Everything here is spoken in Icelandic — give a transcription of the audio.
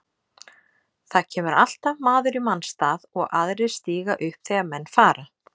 Það kemur alltaf maður í manns stað og aðrir stíga upp þegar menn fara.